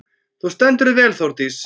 Þú stendur þig vel, Þórdís!